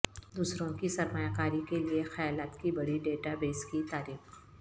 دوسروں کی سرمایہ کاری کے لئے خیالات کی بڑی ڈیٹا بیس کی تعریف